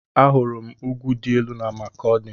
Ahụrụ m ugwu dị elu na Makọdi